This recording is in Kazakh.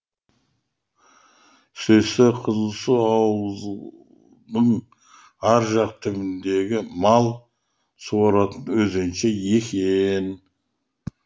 сөйтсе қызылсу ауылдың ар жақ түбіндегі мал суаратын өзенше екен